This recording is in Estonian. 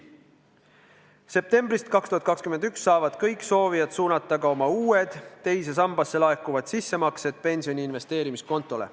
Septembrist 2021 saavad kõik soovijad suunata oma uued teise sambasse laekuvad sissemaksed pensioni investeerimiskontole.